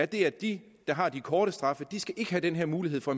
det at de der har de korte straffe skal have den her mulighed for